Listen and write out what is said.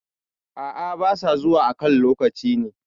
A`a ba sa zuwa a kan lokaci ne